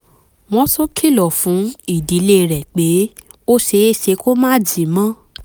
wọ́n tún kìlọ̀ fún ìdílé rẹ̀ pé ó ṣeé ṣe kó máà jí mọ́